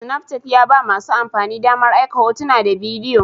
Snapchat ya ba masu amfani damar aika hotuna da bidiyo